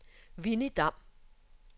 Winnie Damm